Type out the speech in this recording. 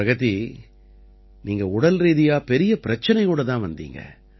பிரகதி நீங்க உடல்ரீதியா பெரிய பிரச்சனையோட தான் வந்தீங்க